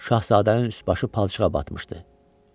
Şahzadənin üst-başı palçığa batmışdı.